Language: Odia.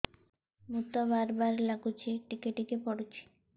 ମୁତ ବାର୍ ବାର୍ ଲାଗୁଚି ଟିକେ ଟିକେ ପୁଡୁଚି